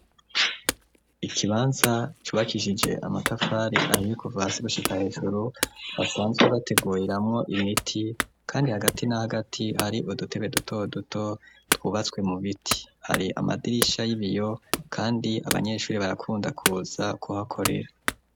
Ikibanza cubakishije amatafari ahiye kuva hasi gushika hejuru basanzwe bateguriramwo imiti. Kandi hagati n'ahagati hari udutebe duto duto twubatswe mu biti. Hari amadirisha y'ibiyo kandi abanyeshuri barakunda kuza kuhakorera.